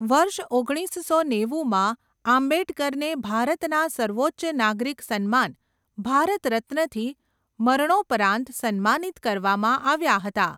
વર્ષ ઓગણીસસો નેવુમાં આંબેડકરને ભારતના સર્વોચ્ચ નાગરિક સન્માન ભારત રત્નથી મરણોપરાંત સન્માનિત કરવામાં આવ્યા હતા.